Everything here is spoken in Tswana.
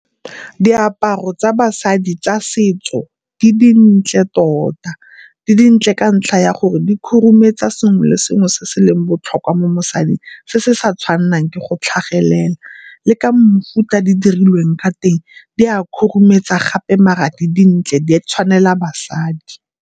Diaparo tsa basadi tsa setso di dintle tota, di dintle ka ntlha ya gore di khurumetsa sengwe le sengwe se se leng botlhokwa mo mosading se se sa tshwanelang ke go tlhagelela, le ka mofuta di dirilweng ka teng di a khurumetsa gape mara di dintle di tshwanela basadi.